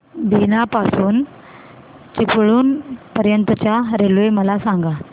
बीना पासून चिपळूण पर्यंत च्या रेल्वे मला सांगा